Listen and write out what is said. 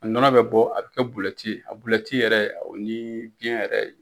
A nɔnɔ bɛ bɔ a bɛ kɛ bulɛti ye a bulɛti yɛrɛ o ni biyɛn yɛrɛ